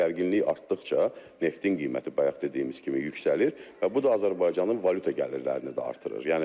Gərginlik artdıqca neftin qiyməti bayaq dediyimiz kimi yüksəlir və bu da Azərbaycanın valyuta gəlirlərini artırır.